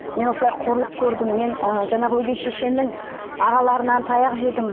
мен осылай қорлық көрдім мен ы жаңағы өгей шешенің ағаларынан таяқ жедім